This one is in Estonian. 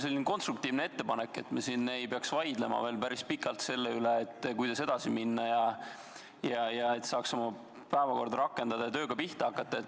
Mul on konstruktiivne ettepanek, et me ei peaks enam pikalt vaidlema selle üle, kuidas edasi minna, ja et saaks päevakorra rakendada ning tööga pihta hakata.